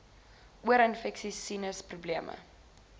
oorinfeksies sinus probleme